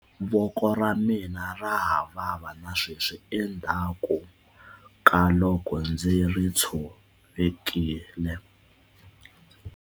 Voko ra mina ra ha vava na sweswi endzhaku ka loko ndzi ri tshovekile.